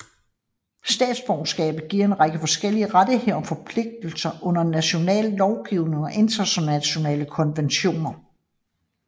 Statsborgerskabet giver en række forskellige rettigheder og forpligtelser under national lovgivning og internationale konventioner